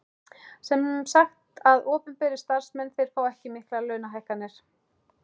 Sem sagt að opinberir starfsmenn þeir fá ekki miklar launahækkanir?